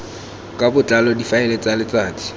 ka botlalo difaele tsa letsatsi